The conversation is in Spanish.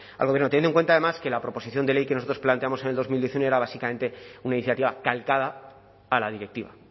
al gobierno teniendo en cuenta además que la proposición de ley que nosotros planteamos en el dos mil diecinueve era básicamente una iniciativa calcada a la directiva